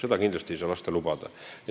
Seda ei saa kindlasti lubada.